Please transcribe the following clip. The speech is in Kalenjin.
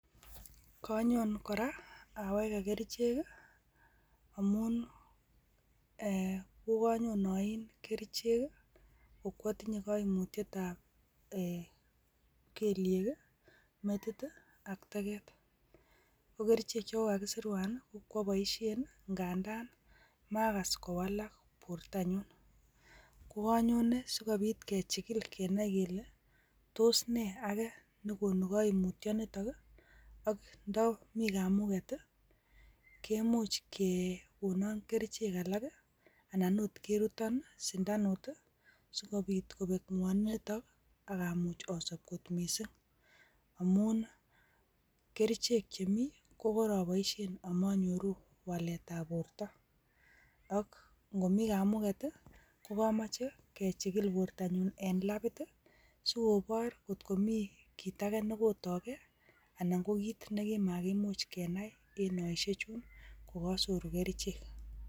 Konyon koraa aweke kerichek amun ee kokonyon oin kerichek kii ko kwotinyee koimutyet ab kelyek kii metit tii ak teket, ko kerichek chekokakisirwok ko kwoboishek ngandan makas kowalak bortanyun ko konyone sikobit kechikil kenai kele tos nee ake nekonu koimutyo niton nii ak ndomii kamuget tii kemuch kekonon kerichek alak anan okot keruton sindanut tii sikobit kobek ngwoniton ak amuch osop kot missing, amun kerichek chemii kokoroboishen amonyoruu walet ab borto ak inkomii kamuget tii kokomoche kechilik bortonyun en labit tii sikobor kot komii kit agee nekokotoo gee anan ko kit nekimakimuch kenai en kemoushek chuun kokosoru kerichek.